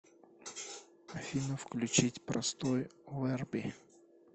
афина включить простой верби